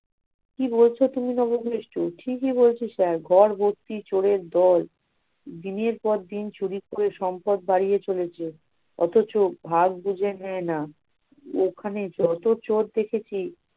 কি বলছ তুমি বাবা বিষ্ঠু! ঠিক ই বলছি সাহেব ঘর ভর্তি চোরের দল, দিনের পর দিন চুরি করে সম্পদ বাড়িয়ে চলেছে অথচ ভাগ বুঝে নেয় না। ওখানে যত চোর দেখেছি-